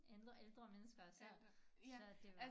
Ældre ældre mennesker så så det var